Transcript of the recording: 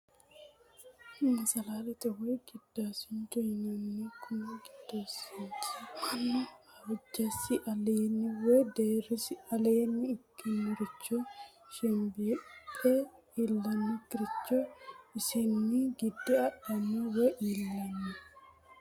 Masalalete, woyi gidaasincho yinnanni, kuni gidaasinchi manu hojasi alleenni woyi deerisi alleenni ikkinoricho shembeephe illanokkiricho isenni gide adhanno woyi iillano